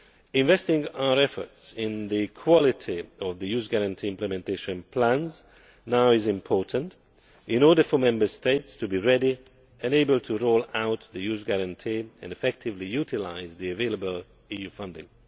Investing our efforts in the quality of the Youth Guarantee Implementation Plans now is important in order for Member States to be ready and able to roll out the Youth Guarantee and effectively utilise the available EU funding.